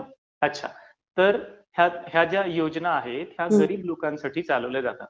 अच्छा. तर ह्या ज्या योजना आहेत, ह्या गरीब लोकांसाठी चालवल्या जातात.